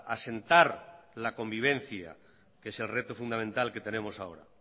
asentar la convivencia que es el reto fundamental que tenemos ahora